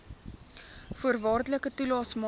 voorwaardelike toelaes maak